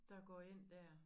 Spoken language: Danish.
Der går ind dér